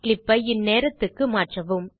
clip ஐ இந்நேரத்துக்கு மாற்றவும்